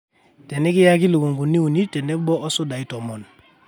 teenikiaki lukunkuni uni tenebo osudai tomon